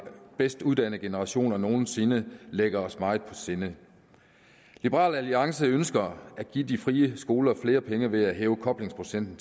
bedst uddannede generationer nogensinde ligger os meget på sinde liberal alliance ønsker at give de frie skoler flere penge ved at hæve koblingsprocenten